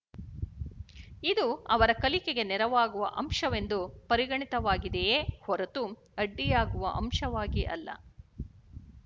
ಇದು ಅವರ ಕಲಿಕೆಗೆ ನೆರವಾಗುವ ಅಂಶವೆಂದು ಪರಿಗಣಿತವಾಗಿದೆಯೇ ಹೊರತು ಅಡ್ಡಿಯಾಗುವ ಅಂಶವಾಗಿ ಅಲ್ಲ